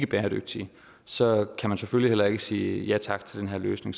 bæredygtige så kan man selvfølgelig heller ikke sige ja tak til den her løsning